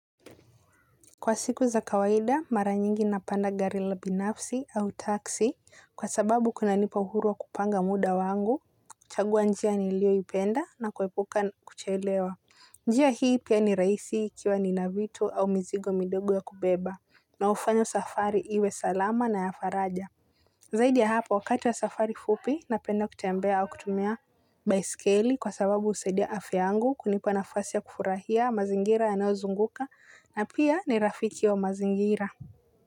Kwa siku za kawaida, mara nyingi napanda gari la binafsi au taxi kwa sababu kunanipa uhuruwa kupanga muda wangu, kuchagua niliyoipenda na kuepuka kuchelewa. Njia hii pia ni rahisi ikiwa ni navitu au mizigo midogo ya kubeba na hufanya safari iwe salama na ya faraja. Zaidi ya hapo wakati wa safari fupi na penda kutembea kutumia baiskeli kwa sababu husaidia afya yangu kunipa nafasi ya kufurahia mazingira yanayozunguka na pia ni rafiki wa mazingira.